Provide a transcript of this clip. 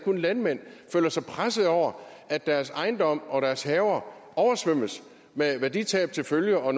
om landmænd føler sig presset over at deres ejendomme og deres haver oversvømmes med værditab til følge og